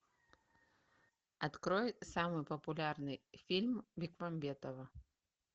открой самый популярный фильм бекмамбетова